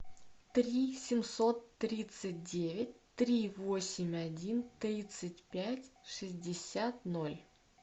три семьсот тридцать девять три восемь один тридцать пять шестьдесят ноль